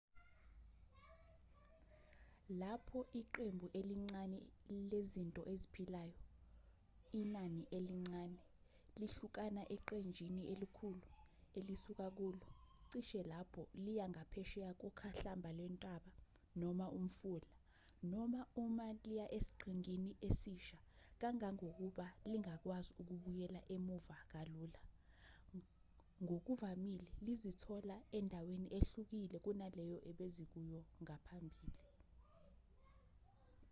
lapho iqembu elincane lezinto eziphilayo inani elincane lihlukana eqenjini elikhulu elisuka kulo cishe lapho liya ngaphesheya kokhahlamba lwentaba noma umfula noma uma liya esiqhingini esisha kangangokuba lingakwazi ukubuyela emuva kalula ngokuvamile lizozithola endaweni ehlukile kunaleyo ebezikuyo ngaphambili